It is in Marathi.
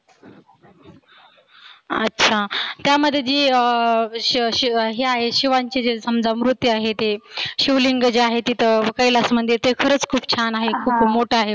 अच्छा त्यामध्ये जी अं श श शिवांची जे समजा म्रुती आहे ते शिवलिंग आहे. जे तर कैलास मंदीर ते खरच छान आहे मोठ.